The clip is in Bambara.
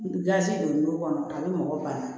Gilasi don kɔnɔ a bɛ mɔgɔ bana